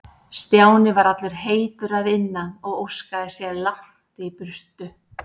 Stjáni var allur heitur að innan og óskaði sér langt í burtu.